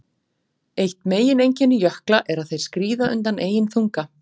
Eitt megineinkenni jökla er að þeir skríða undan eigin þunga.